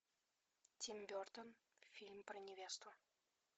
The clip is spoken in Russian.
тим бертон фильм про невесту